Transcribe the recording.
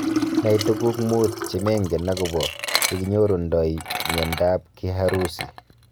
Nai tuguuk muut chemengen agobo yenginyorundo miondab Kiharusi.